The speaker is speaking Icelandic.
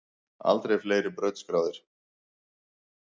Aldrei fleiri brautskráðir